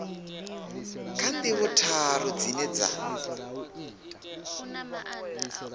kha ndivho tharu dzine dza